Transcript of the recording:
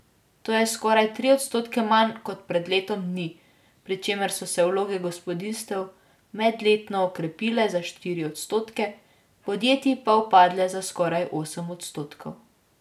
To je skoraj tri odstotke manj kot pred letom dni, pri čemer so se vloge gospodinjstev medletno okrepile za štiri odstotke, podjetij pa upadle za skoraj osem odstotkov.